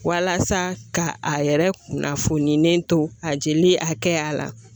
Walasa ka a yɛrɛ kunnafoni ne to a jeli hakɛya la